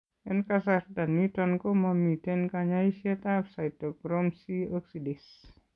En kasarta niton ko momiten kanyaiset ab cytochrome C oxidase